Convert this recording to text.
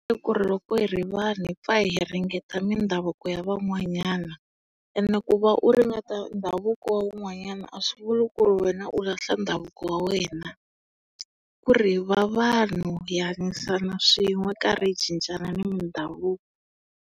I ku va loko hi ri vanhu hi pfa hi ringena mindhavuko ya van'wanyana. Ene ku va u ringeta ndhavuko wa un'wanyana a swi vuli ku ri wena u lahla ndhavuko wa wena. Kuri hi va vanhu, hi hanyisana swin'we hi karhi hi cincana na mindhavuko.